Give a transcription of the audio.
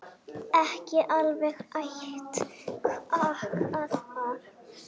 Ekki alveg æt kaka þar.